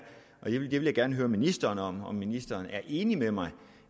og det vil jeg gerne høre ministeren om ministeren er enig med mig